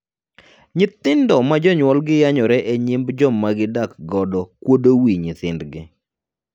Nyithindo ma jonyuolgi yanyore e nyim joma gidak godo kuodo wii nyithindgi.